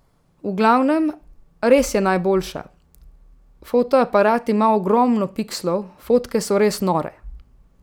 V glavnem, res je najboljša, fotoaparat ima ogromno pikslov, fotke so res nore.